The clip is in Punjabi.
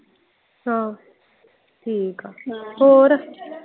ਅੱਛਾ ਠੀਕ ਆ ਹੋਰ।